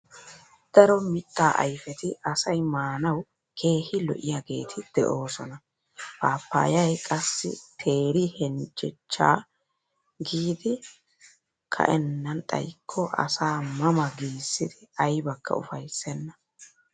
Daro mittaa ayfeti asay maanawu keehi lo'iyaageeti de'oosna. Paappayay qassi teeri heljjejjaa kiyidi ka'ennan xayikko asaa ma ma giissidi aybakka ufayssenna.